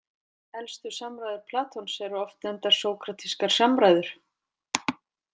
Elstu samræður Platons eru oft nefndar sókratískar samræður.